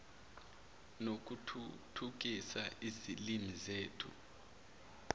nokuthuthukisa izilimi zethu